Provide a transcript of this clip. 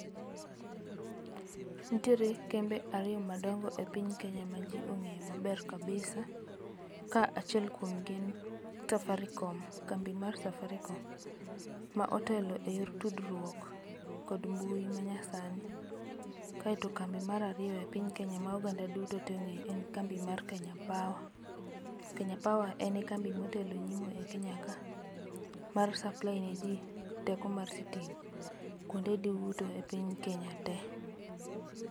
ntiere kembe ariyo madongo e piny Kenya ma jii ong'eyo maber kabisa. Ka achiel kuomgi en Safaricom, kambi mar Safaricom. Ma otelo eyor tudruok kod mbui ma nyasani. Kaeto kambi mar ariyo e piny Kenya ma oganda duto ong'eyo en kambi mar Kenya Power. Kenya Power en e kambi motelo e nyimo e Kenya ka, mar supply ne jii teko mar sitima, kwonde duto e piny Kenya te